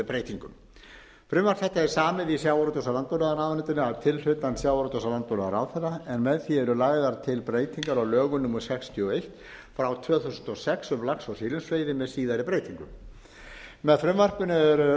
breytingum frumvarp þetta er samið í sjávarútvegs og landbúnaðarráðuneytinu að tilhlutan sjávarútvegs og landbúnaðarráðherra en með því eru lagðar til breytingar á lögum númer sextíu og eitt tvö þúsund og sex um lax og silungsveiði með síðari breytingum með frumvarpinu eru